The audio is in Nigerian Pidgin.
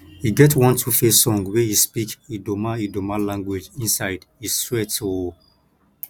e get one 2face song wey he speak idoma idoma language inside e sweat o